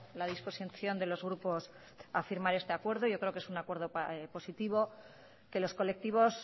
la disposición de los grupos a firmar este acuerdo yo creo que es un acuerdo positivo que los colectivos